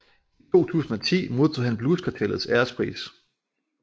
I 2010 modtog han Blues Kartellets Ærespris